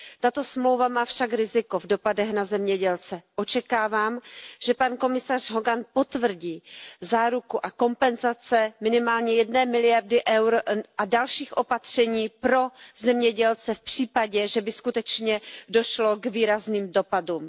Tato smlouva má však riziko v dopadech na zemědělce, očekávám, že pan komisař Hogan potvrdí záruku a kompenzace ve výši minimálně jedné miliardy eur a další opatření pro zemědělce v případě, že by skutečně došlo k výrazným dopadům.